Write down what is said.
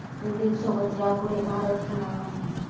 विंडीजसोबत यापुढे भारत खेळणार नाही